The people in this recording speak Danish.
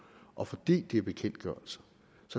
og fordi det er bekendtgørelser